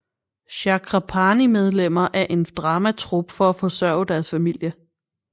Chakrapani medlemmer af en dramatrup for at forsørge deres familie